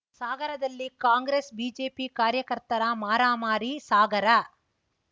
ಸಾಗರದಲ್ಲಿ ಕಾಂಗ್ರೆಸ್‌ಬಿಜೆಪಿ ಕಾರ್ಯಕರ್ತರ ಮಾರಾಮಾರಿ ಸಾಗರ